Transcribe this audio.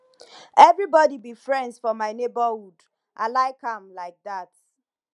everybody be friends for my neighborhood i like am like dat